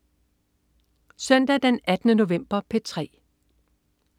Søndag den 18. november - P3: